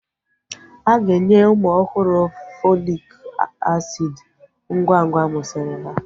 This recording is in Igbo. Aga enye ụmụ ọhụrụ Fọlik asiid ngwa ngwa amusiri ha